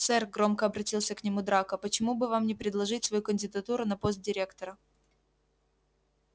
сэр громко обратился к нему драко почему бы вам не предложить свою кандидатуру на пост директора